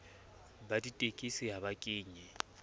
ba ditekesi ha ba kenye